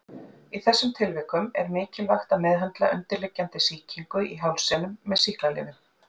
Í þessum tilvikum er mikilvægt að meðhöndla undirliggjandi sýkingu í hálsinum með sýklalyfjum.